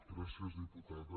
gràcies diputada